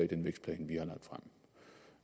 den vækstplan